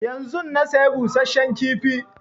Yanzun na saya busasshen kifi